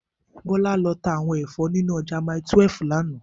Bola lò tá áwòn èfò ninú òjà màítúèf làná